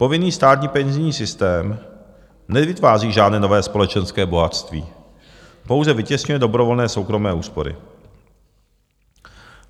Povinný státní penzijní systém nevytváří žádné nové společenské bohatství, pouze vytěsňuje dobrovolné soukromé úspory.